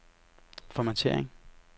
formattering